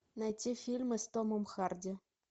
найти фильмы с томом харди